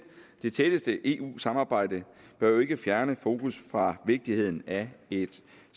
det tætteste eu samarbejde bør jo ikke fjerne fokus fra vigtigheden af et